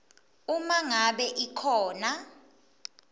uma ngabe ikhona